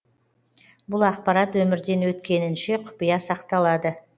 бұл ақпарат өмірден өткенінше құпия сақталады